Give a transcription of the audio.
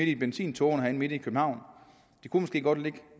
i benzintågerne midt i københavn de kunne måske godt ligge